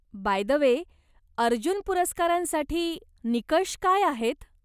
Bye the way, Arjuna पुरस्कारांसाठी निकष काय आहेत?